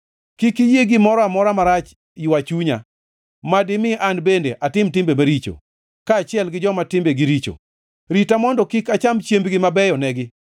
Kik iyie gimoro amora marach ywa chunya, ma dimi an bende atim timbe maricho, kaachiel gi joma timbe gi richo; rita mondo kik acham chiembgi mabeyonegi.